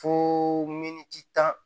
Fo miniti tan